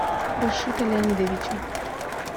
рашита леонидовича